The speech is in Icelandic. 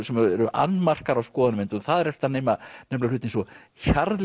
sem eru annmarkar á skoðanamyndun og þar ertu að nefna hluti eins og